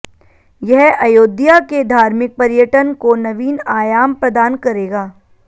यह अयोध्या के धार्मिक पर्यटन को नवीन आयाम प्रदान करेगा